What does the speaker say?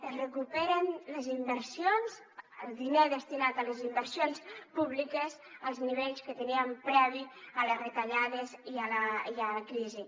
es recuperen les inversions el diner destinat a les inversions públiques als nivells que teníem previs a les retallades i a la crisi